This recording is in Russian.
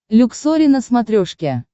люксори на смотрешке